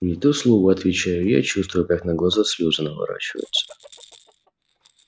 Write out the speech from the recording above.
не то слово отвечаю я чувствуя как на глаза слёзы наворачиваются